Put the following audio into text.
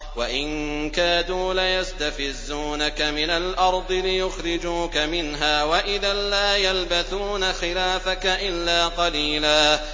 وَإِن كَادُوا لَيَسْتَفِزُّونَكَ مِنَ الْأَرْضِ لِيُخْرِجُوكَ مِنْهَا ۖ وَإِذًا لَّا يَلْبَثُونَ خِلَافَكَ إِلَّا قَلِيلًا